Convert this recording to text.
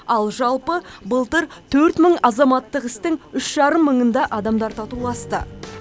ал жалпы былтыр төрт мың азаматтық істің үш жарым мыңында адамдар татуласты